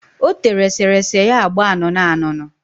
O tere eserese ya agba anụnụanụnụ.